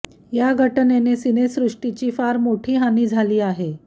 या घटनेने सिनेसृष्टीची फार मोठी हानी झाली आहे